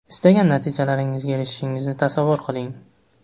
Istagan natijalaringizga erishishingizni tasavvur qiling.